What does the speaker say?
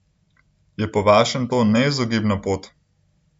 Je po vašem to neizogibna pot?